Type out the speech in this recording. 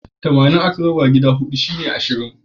Tamanin aka raba gida huɗu ashirin ne.